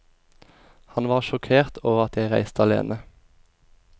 Han var sjokkert over at jeg reiste alene.